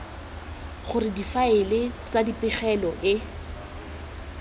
gore difaele tsa dipegelo le